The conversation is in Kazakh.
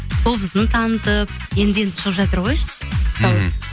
қобызын танытып енді енді шығып жатыр ғой мхм